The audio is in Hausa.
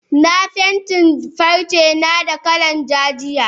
Na fentin farcena da kalar ja jiya.